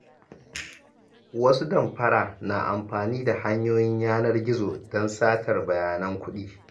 Wasu damfara na amfani da hanyoyin yanar gizo don satar bayanan kuɗi.